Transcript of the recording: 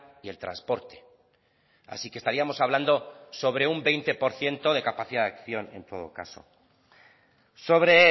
y el transporte así que estaríamos hablando sobre un veinte por ciento de capacidad de acción en todo caso sobre